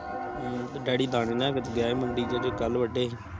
ਹਮ ਤੇ ਡੈਡੀ ਦਾਣੇ ਲੈ ਕੇ ਗਿਆ ਮੰਦੇ ਜਿਹੜੇ ਕਲ ਵਾਦੇ ਸੀ